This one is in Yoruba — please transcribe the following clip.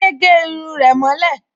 Adé gẹ irun rẹ̀ mọ́ lẹ̀